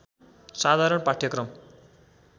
साधारण पाठ्यक्रम